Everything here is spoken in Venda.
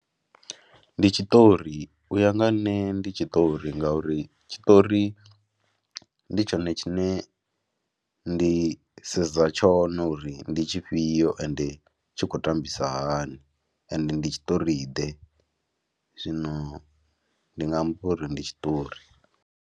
Ndi tshiṱori, u ya nga ha nṋe ndi tshiṱori ngauri tshiṱori ndi tshone tshine ndi sedza tshone uri ndi tshifhio ende tshi khou tambisa hani ende ndi tshiṱoriḓe zwino ndi nga ampba uri ndi tshiṱori.